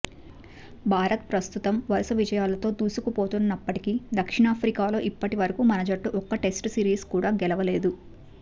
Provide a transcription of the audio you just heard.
భారత్ ప్రస్తుతం వరుస విజయాలతో దూసుకుపోతున్నప్పటికీ దక్షిణాఫ్రికాలో ఇప్పటి వరకు మన జట్టు ఒక్క టెస్ట్ సిరీస్ కూడా గెలవలేదు